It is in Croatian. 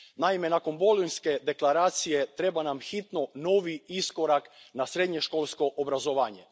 Naime, nakon bolonjske deklaracije treba nam hitno novi iskorak prema srednjoškolskom obrazovanju.